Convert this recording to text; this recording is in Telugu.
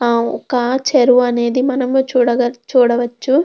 ఆ ఒక చేరువనేది మనము చూడగల చూడవచ్చు.